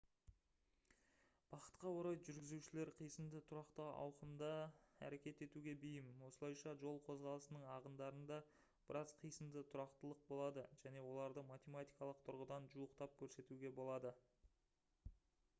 бақытқа орай жүргізушілер қисынды тұрақты ауқымда әрекет етуге бейім осылайша жол қозғалысының ағындарында біраз қисынды тұрақтылық болады және оларды математикалық тұрғыдан жуықтап көрсетуге болады